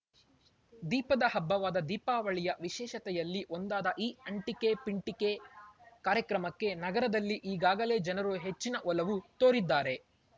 ದೀಪದ ಹಬ್ಬವಾದ ದೀಪಾವಳಿಯ ವಿಶೇಷತೆಯಲ್ಲಿ ಒಂದಾದ ಈ ಅಂಟಿಕೆಪಿಂಟಿಕೆ ಕಾರ್ಯಕ್ರಮಕ್ಕೆ ನಗರದಲ್ಲಿ ಈಗಾಗಲೆ ಜನರು ಹೆಚ್ಚಿನ ಒಲವು ತೋರಿದ್ದಾರೆ